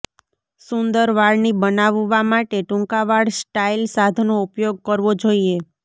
સુંદર વાળની બનાવવા માટે ટૂંકા વાળ સ્ટાઇલ સાધનો ઉપયોગ કરવો જોઈએ